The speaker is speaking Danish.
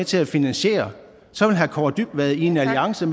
til at finansiere så vil herre kaare dybvad i en alliance